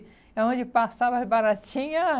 É onde passava as baratinhas.